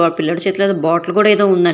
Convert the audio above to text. ఆ పిల్లోడు చేతిలో ఏదో ఒక బాటిల్ కూడా ఉందండి.